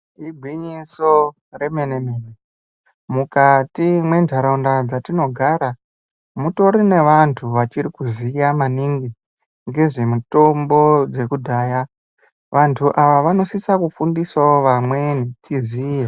Igwinyiso remene-mene, mukati mentaraunda dzatinogara mutori nevantu vachirikuziya maningi ngezvemitombo dzekudhaya. Vantu ava vanosisa kufundisawo vamweni kuti tiziye.